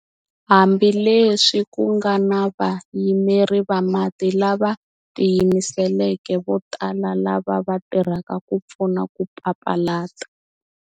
Hambileswi ku nga na vayimeri va mati lava tiyimiseleke vo tala lava va tirhaka ku pfuna ku papalata.